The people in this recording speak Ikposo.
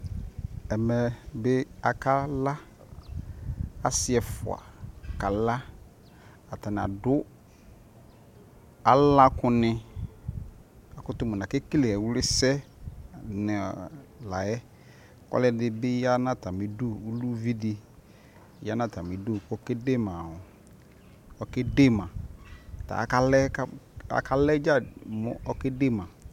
ɛli bi aka la asii ɛƒʋa kala atani adʋ ala kʋ ni, akʋtʋ mʋnʋ akɛkɛlɛ ɛwli sɛ layɛ, ɔlʋ ɛdibi yanʋ atami idʋ kʋ ʋvi di yanʋ atami idʋ kʋ ɔkɛ dɛma, tʋaka layɛ dza mʋ ɔkɛ dɛ ma